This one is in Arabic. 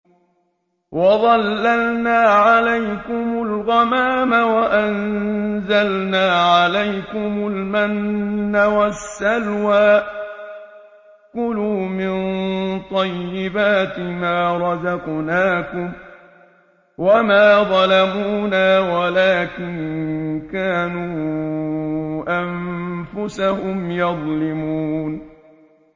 وَظَلَّلْنَا عَلَيْكُمُ الْغَمَامَ وَأَنزَلْنَا عَلَيْكُمُ الْمَنَّ وَالسَّلْوَىٰ ۖ كُلُوا مِن طَيِّبَاتِ مَا رَزَقْنَاكُمْ ۖ وَمَا ظَلَمُونَا وَلَٰكِن كَانُوا أَنفُسَهُمْ يَظْلِمُونَ